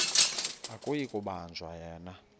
akuyi kubanjwa yena